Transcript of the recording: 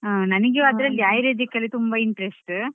ಹೌದು ಹೌದು ಹಾ ನನಿಗೆ ಅದ್ರಲ್ಲಿ Ayurvedic ಅಲ್ಲಿ ತುಂಬಾ interest.